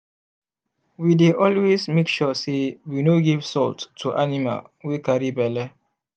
we dey always make sure say we no give salt to animal wy carry belle